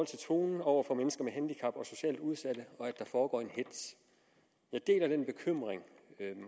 til tonen over for mennesker med handicap og socialt udsatte og der foregår en hetz jeg deler den bekymring